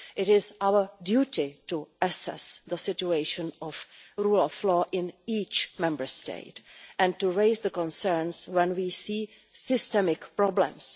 It is our duty to assess the situation of the rule of law in each Member State and to raise concerns when we see systemic problems.